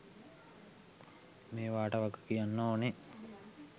මේවට වගකියන්න ඕන.